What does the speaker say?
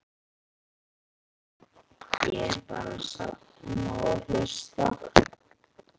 Ég er bara að safna og hlusta.